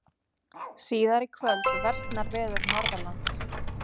Síðar í kvöld versnar veður Norðanlands